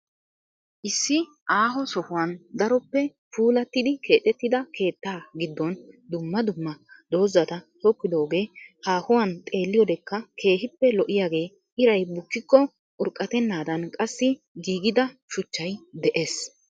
Issi aaho sohuwan daroppe puulattidi keexettida keetta giddon dumma dumma doozata tokkidoogee haahuwan xeelliyodekka keehippe lo'iyagee iray bukkikko urqatennaadan qassi giigida shuchchay de'ees.